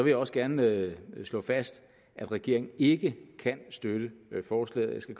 jeg også gerne slå fast at regeringen ikke kan støtte forslaget jeg skal